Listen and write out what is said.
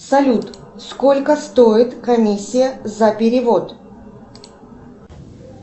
салют сколько стоит комиссия за перевод